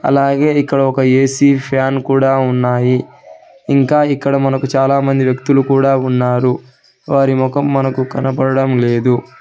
అలాగే ఇక్కడ ఒక ఏ_సీ ఫ్యాన్ కూడా ఉన్నాయి ఇంకా ఇక్కడ మనకు చాలామంది వ్యక్తులు కూడా ఉన్నారు వారి ముఖం మనకు కనబడడం లేదు.